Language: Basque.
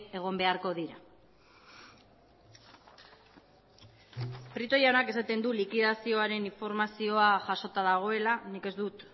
egon beharko dira prieto jaunak esaten du liquidazioaren informazioa jasota dagoela nik ez dut